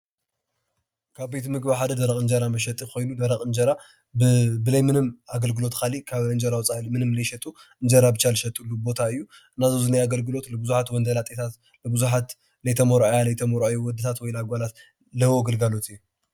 ካብ ቤት ምግቢ ሓደ ደርቅ እንጀራ መሸጢ ኮይኑ ደርቅ እንጀራ ብዘይ ምንም አገልግሎት ካሊእ ካብ እንጀራ ወፃኢ ምንም ዘይሸጡ እንጀራ ብቻ ዝሸጥሉ ቦታ እዩ። እና እዚ ኣብዙይ ዘኒሆ አግልግሎት ብዙሓት ወንድላጤታት ፣ብዙሓት ዘይተመርዐያ ዘይተመርዓዉ ውድታት ወይ አጓላት ዝህቦ ግልግሎት እዩ።